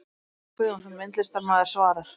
Kjartan Guðjónsson, myndlistarmaður svarar